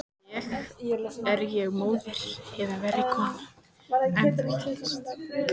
Er ég móðir eða verri kona en þú hélst?